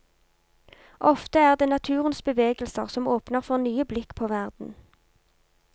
Ofte er det naturens bevegelser som åpner for nye blikk på verden.